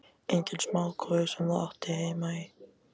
Enginn smá kofi sem þú átti heima í!